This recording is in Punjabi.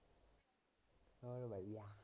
ਹੋਰ ਵਧੀਆ